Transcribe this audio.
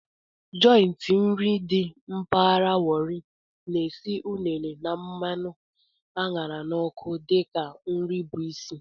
Jọịntị nri dị mpaghara Warri na-esi unere na mmanụ a ṅara n'ọkụ dị ka nri bụ isi.